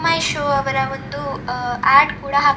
ಮಹಿಷು ಅವರ ಒಂದು ಆಡ್ ಕೂಡ ಹಾಕಿದ್ದಾರೆ --